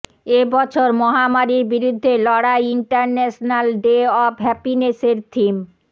এ বছর মহামারির বিরুদ্ধে লড়াই ইন্টারন্যাশনাল ডে অফ হ্যাপিনেসের থিম